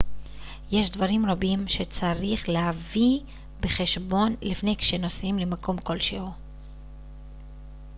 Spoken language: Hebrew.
יש דברים רבים שצריך להביא בחשבון לפני וכשנוסעים למקום כלשהו